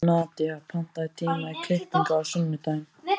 Nadía, pantaðu tíma í klippingu á sunnudaginn.